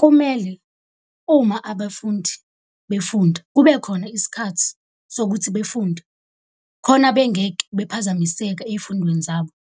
Kumele uma abafundi befunda kube khona isikhathi sokuthi befunde, khona bengeke bephazamiseke ey'fundweni zabo,